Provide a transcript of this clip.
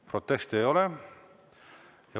Proteste ei ole.